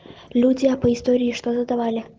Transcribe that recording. люди а по истории что задавали